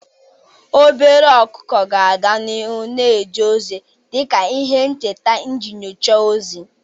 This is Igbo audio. Obere ọkụkọ ga-aga n'ihu na-eje ozi dị ka ihe ncheta iji nyochaa ozi.